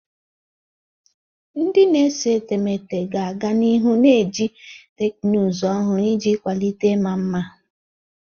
Ndị na-ese etemeete ga-aga n'ihu na-eji teknụzụ ọhụrụ iji kwalite ịma mma.